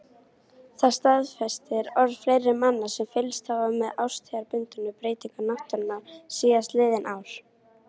Það staðfestir orð fleiri manna sem fylgst hafa með árstíðabundnum breytingum náttúrunnar síðastliðin ár.